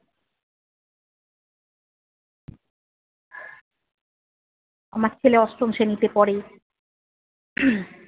আমার ছেলে অষ্টম শ্রেণীতে পড়ে।